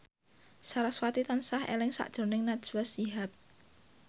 sarasvati tansah eling sakjroning Najwa Shihab